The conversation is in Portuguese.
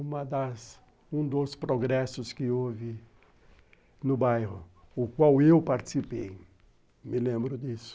Uma das um dos progressos que houve no bairro, no qual eu participei, me lembro disso.